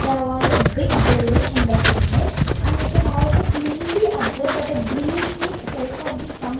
there was a big building in that image and we can also cleanly observe that a green tree sides of the sum --